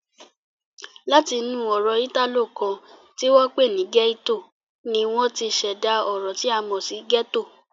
Láti inú ọ̀rọ̀ Ìtàló kan ti wọ́n pè ní "gietto" ni wọ́n ti ṣẹ̀dá ọ̀rọ̀ tí a mọ̀ sí "ghetto"